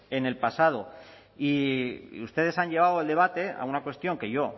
en el pasado y ustedes han llevado el debate a una cuestión que yo